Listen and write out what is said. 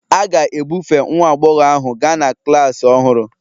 A ga-ebufe nwa agbọghọ ahu gaa na klas ọhụrụ